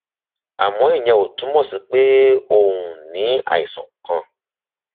àmọ ìyẹn ò túmọ sí pé o um ní àìsàn kan